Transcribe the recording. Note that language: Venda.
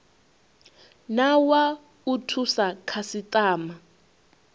na wa u thusa khasitama